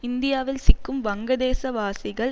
இந்தியாவில் சிக்கும் வங்கதேச வாசிகள்